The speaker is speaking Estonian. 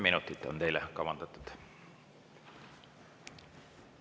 Teile on kavandatud 10 minutit.